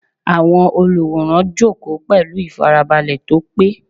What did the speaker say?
Àwọn olùwòran jókòó pẹ̀lú ìfarabalẹ̀ tó pé.